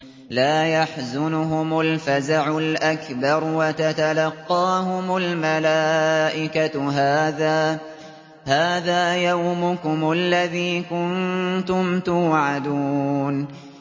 لَا يَحْزُنُهُمُ الْفَزَعُ الْأَكْبَرُ وَتَتَلَقَّاهُمُ الْمَلَائِكَةُ هَٰذَا يَوْمُكُمُ الَّذِي كُنتُمْ تُوعَدُونَ